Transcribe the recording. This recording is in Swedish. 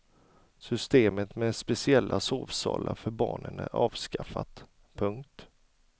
Systemet med speciella sovsalar för barnen är avskaffat. punkt